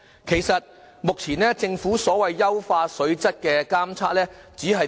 其實，目前政府所謂優化水質的監測，只做甚麼？